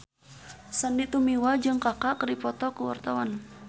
Sandy Tumiwa jeung Kaka keur dipoto ku wartawan